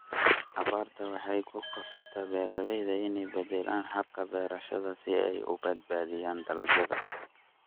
Abaartu waxay ku qasabtaa beeralayda inay beddelaan hababka beerashada si ay u badbaadiyaan dalagyada.